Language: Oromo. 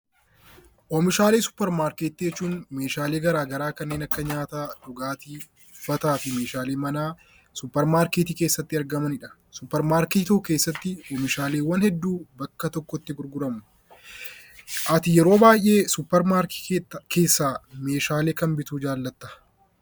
Oomishaalee suuparmarkeetii jechuun meeshaalee garaagaraa kanneen akka nyaataa, dhugaatii, uffataa fi meeshaalee manaa suuparmarkeetii keessatti argamanidha. suuparmarkeetii tokko keessatti oomishaaleewwan hedduu bakka tokkotti gurguramu. Ati yeroo baay'ee suuparmarkeetii keessaa meeshaalee kam bituu jaallatta?